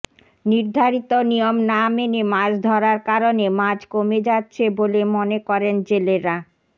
নির্ধারিত নিয়ম না মেনে মাছ ধরার কারণে মাছ কমে যাচ্ছে বলে মনে করেন জেলেরা